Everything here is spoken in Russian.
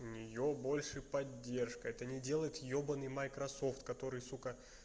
у неё больше поддержка это не делает ёбанный майкрософт который сука